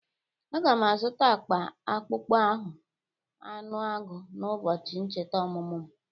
A ga m azụta akpa akpụkpọ ahụ anụ agụ n'ụbọchị ncheta ọmụmụ m